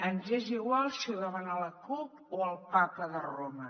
ens és igual si ho demana la cup o el papa de roma